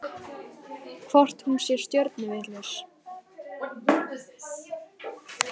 Hvort hún sé stjörnuvitlaus?